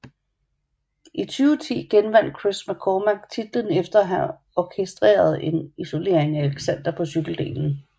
I 2010 genvandt Chris McCormack titlen efter at have orkestreret en isolering af Alexander på cykeldelen